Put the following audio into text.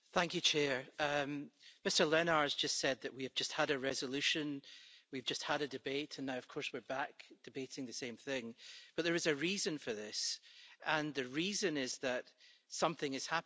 Madam President, Mr Lenaers just said that we have just had a resolution, we've just had a debate and now, of course, we're back debating the same thing, but there is a reason for this and the reason is that something is happening.